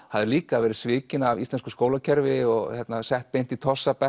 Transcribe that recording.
hafði líka verið svikin af íslensku skólakerfi og sett beint í